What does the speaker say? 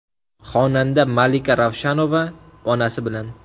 Xonanda Malika Ravshanova onasi bilan.